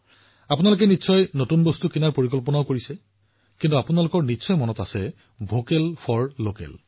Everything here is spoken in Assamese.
আপুনি সকলোৱে এতিয়াৰে পৰা বজাৰ কৰাৰ বাবে পৰিকল্পনা কৰিব পাৰে কিন্তু আপোনাৰ মনত ৰাখিব বজাৰ কৰাৰ অৰ্থ হৈছে ভকেল ফৰ লোকেল